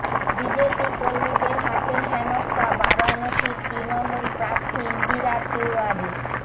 BJP কর্মীদের হাতে হেনস্থা বারাণসীর তৃণমূল প্রার্থী ইন্দিরা তিওয়ারি